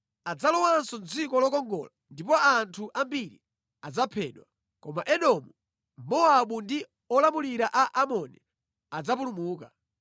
Idzalowanso mʼDziko Lokongola ndipo anthu ambiri adzaphedwa. Koma Edomu, Mowabu ndi olamulira a Amoni adzapulumuka.